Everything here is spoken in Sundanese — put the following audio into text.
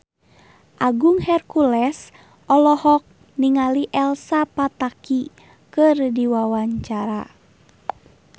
Agung Hercules olohok ningali Elsa Pataky keur diwawancara